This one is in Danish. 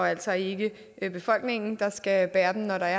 altså ikke befolkningen der skal bære det når der